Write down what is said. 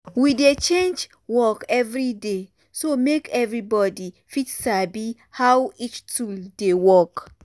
we dey change work every day so make everybody fit sabi how each tool dey work.